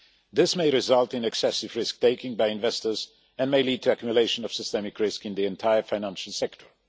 This may result in excessive risk taking by investors and may lead to accumulation of systemic risk in the entire financial sector.